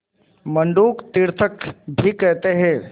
मंडूक तीर्थक भी कहते हैं